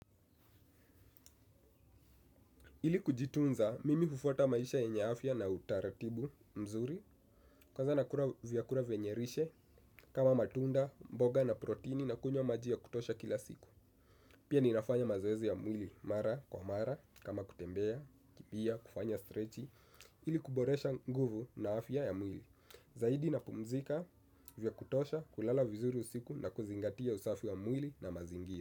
Ili kujitunza, mimi hufuata maisha ya yenye afya na utaratibu mzuri kwanza nakula vyakula venye lishe kama matunda, mboga na protini na kunywa majia kutosha kila siku. Pia ninafanya mazoezi ya mwili, mara kwa mara, kama kutembea, kimbia, kufanya strechi ili kuboresha nguvu na afya ya mwili. Zaidi na pumzika vya kutosha, kulala vizuri usiku na kuzingatia usafi ya mwili na mazingira.